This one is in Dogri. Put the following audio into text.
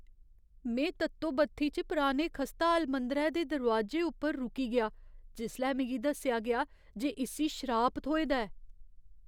में तत्तो बत्थी च पराने खस्ताहाल मंदरै दे दरोआजे उप्पर रुकी गेआ जिसलै मिगी दस्सेआ गेआ जे इस्सी शराप थ्होए दा ऐ।